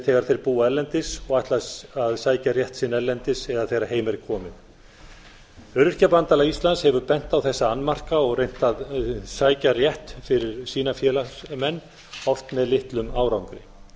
þegar þeir búa erlendis og ætla að sækja rétt sinn erlendis eða þegar heim er komið öryrkjabandalag íslands hefur bent á þessa annmarka og reynt að sækja rétt fyrir sína félagsmenn oft með litlum árangri